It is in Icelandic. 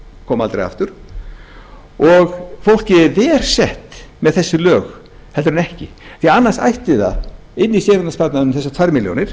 koma aldrei aftur og fólkið er verr sett með þessi lög heldur en ekki því annars ætti það inni í séreignarsparnaðinum þessar tvær milljónir